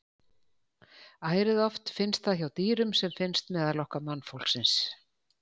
Ærið oft finnst það hjá dýrum sem finnst meðal okkar mannfólksins.